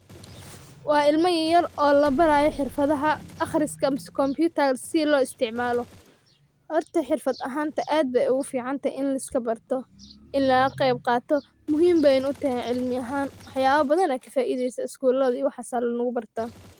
Waa ilma yaryar oo la barayo xirfadda akhriska ama isticmaalka kombiyuutarka si loo isticmaalo. Hortaa xirfad ahaan aad ayey ugu fiicantahay in la iska barto, in laga qayb qaato muhiim bay u tahayna cilmi ahaan. waax yaalo badan ayaa ka faideysaa Iskuulada iyo meelahaas ayeyna lagu bartaa.